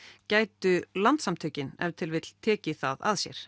gætu Landssamtökin ef til vill tekið það að sér